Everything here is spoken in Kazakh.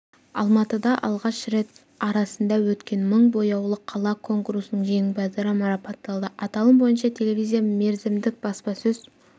алматыда алғаш рет арасында өткен мың бояулы қала конкурсының жеңімпаздары марапатталды аталым бойынша телевизия мерзімді баспасөз